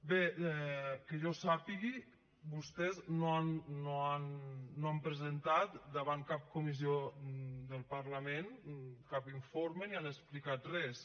bé que jo sàpiga vostès no han presentat davant cap comissió del parlament cap informe ni han explicat res